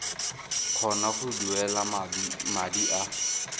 kgona go duela madi a